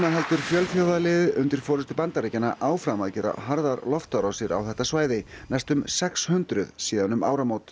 heldur fjölþjóðaliðið undir forystu Bandaríkjanna áfram að gera harðar loftárásir á þetta svæði næstum sex hundruð síðan um áramót